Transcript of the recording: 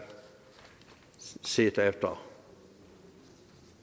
set efter